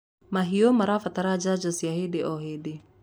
mahiũ marabatara njanjo cia hĩndĩ o hĩndĩ